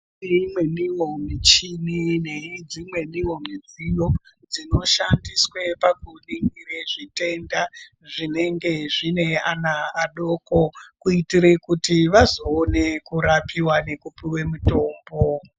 Kune imweniwo michini nedzi mweniwo midziyo dzino shandiswe paku ningire zvitenda zvinenge zvine ana adoko kuitire kuti vazo one kurapiwa neku puwe mitombo.